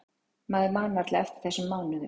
Maður man varla eftir þessum mánuðum.